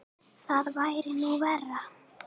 Það væri nú verra.